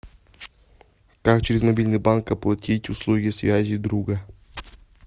как через мобильный банк оплатить услуги связи друга